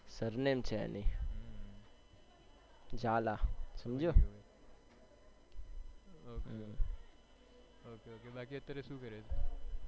બાકી અત્યારે શું કરે છે.